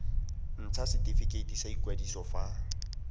ntsha setifikeiti sa ikwadiso fa